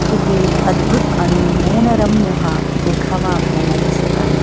किती अद्भुत आणि नयनरम्य हा देखावा आपल्याला दिसत आहे.